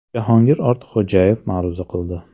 Jahongir Ortiqxo‘jayev ma’ruza qildi.